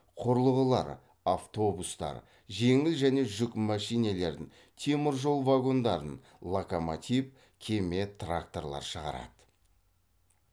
құрылғылар автобустар жеңіл және жүк мәшинелерін темір жол вагондарын локомотив кеме тракторлар шығарады